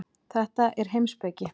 Þetta er heimspeki.